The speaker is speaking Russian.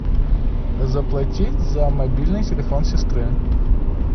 заплатить за мобильный телефон сестры